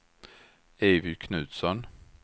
Evy Knutsson